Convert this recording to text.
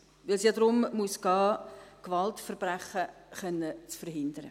Denn es muss ja darum gehen, Gewaltverbrechen verhindern zu können.